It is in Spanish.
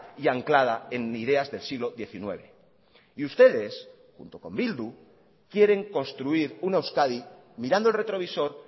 y anclada en ideas del siglo diecinueve y ustedes junto con bildu quieren construir una euskadi mirando el retrovisor